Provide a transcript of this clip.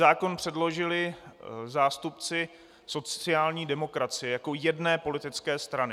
Zákon předložili zástupci sociální demokracie jako jedné politické strany.